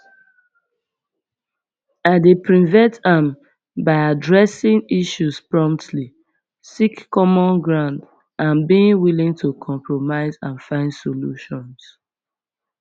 i dey prevent am by addressing issues promptly seek common ground and being willing to compromise and find solutions